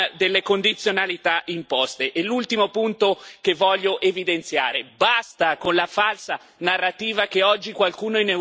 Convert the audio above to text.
L'ultimo punto che voglio evidenziare è basta con la falsa narrativa che oggi qualcuno in Europa stia pagando per l'Italia.